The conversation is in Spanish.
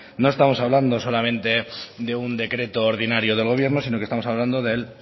no estamos hablando solamente de un decreto ordinario del gobierno sino que estamos hablando del